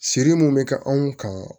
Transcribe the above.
Siri munnu be kɛ anw kan